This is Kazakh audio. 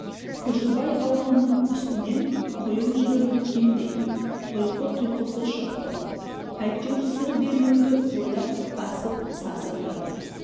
күржібай ауылының үстінен құйын жүріп өткендей ұйқы тұйқысы шықты әйтеуір сыр бермеуді ойлап асып сасып жатыр